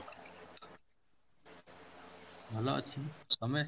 ଭଲ ଅଛି, ତମେ?